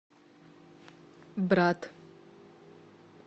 брат